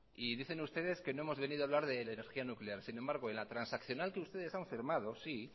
y dicen ustedes que no hemos venido a hablar de la energía nuclear sin embargo en la transaccional que ustedes han firmado sí